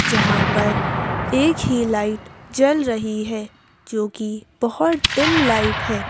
जहां पर एक ही लाइट जल रही है क्योंकि बहोत डिम लाइट है।